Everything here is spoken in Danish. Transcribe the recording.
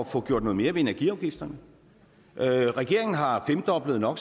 få gjort noget mere ved energiafgifterne regeringen har femdoblet no